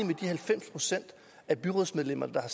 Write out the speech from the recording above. de halvfems procent af byrådsmedlemmerne der